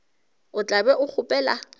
o tla be o kgopela